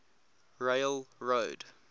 railroad